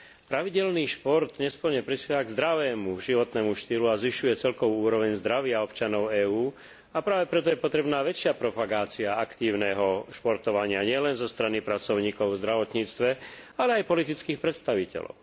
Pravidelný šport nesporne prispieva k zdravému životnému štýlu a zvyšuje celkovú úroveň zdravia občanov EÚ, a práve preto je potrebná väčšia propagácia aktívneho športovania nielen zo strany pracovníkov v zdravotníctve, ale aj politických predstaviteľov.